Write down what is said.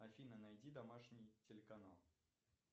афина найди домашний телеканал